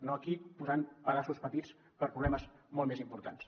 no aquí que posen pedaços petits a problemes molt més importants